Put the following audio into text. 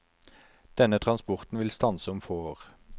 Denne transporten vil stanse om få år.